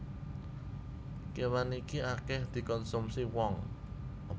Kéwan iki akèh dikonsumsi wong